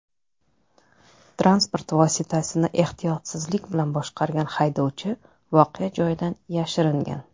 Transport vositasini ehtiyotsizlik bilan boshqargan haydovchi voqea joyidan yashiringan.